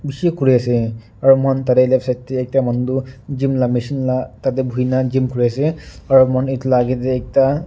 bishi kuriase aro mohan tatae left side tae ekta manu tu gym la machine la tate buhina gym kuriase aro edu la akae tae ekta.